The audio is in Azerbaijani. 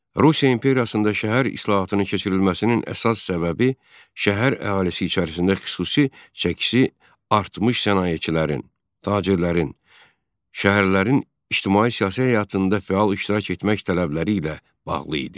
Rusiya imperiyasında şəhər islahatının keçirilməsinin əsas səbəbi şəhər əhalisi içərisində xüsusi çəkisi artmış sənayeçilərin, tacirlərin, şəhərlərin ictimai-siyasi həyatında fəal iştirak etmək tələbləri ilə bağlı idi.